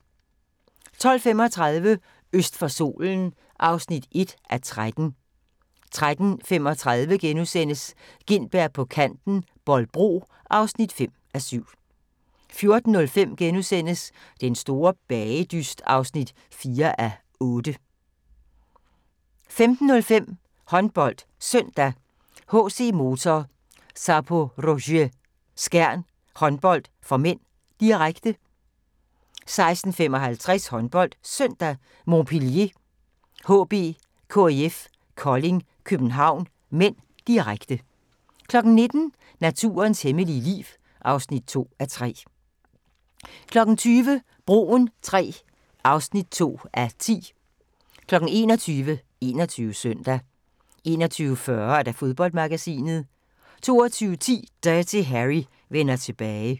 12:35: Øst for solen (1:13) 13:35: Gintberg på Kanten – Bolbro (5:7)* 14:05: Den store bagedyst (4:8)* 15:05: HåndboldSøndag: HC Motor Zaporozhye-Skjern Håndbold (m), direkte 16:55: HåndboldSøndag: Montpellier HB-KIF Kolding København (m), direkte 19:00: Naturens hemmelige liv (2:3) 20:00: Broen III (2:10) 21:00: 21 Søndag 21:40: Fodboldmagasinet 22:10: Dirty Harry vender tilbage